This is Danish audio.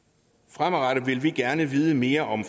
fremadrettet vil vi gerne vide mere om